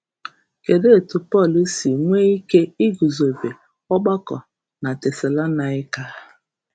Kedụ etu Pọl si nwee ike iguzobe ọgbakọ na Tesalonaịka?